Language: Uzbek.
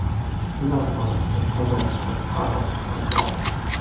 Ular orasida Qozog‘iston fuqarosi ham bor.